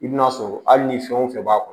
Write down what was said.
I bina sɔrɔ hali ni fɛn o fɛn b'a kɔnɔ